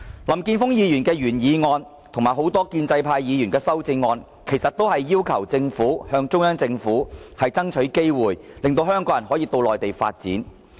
林健鋒議員的原議案及多位建制派議員的修正案，其實不外乎要求政府向中央政府爭取機會，讓香港人可到內地發展。